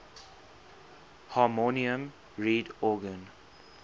harmonium reed organ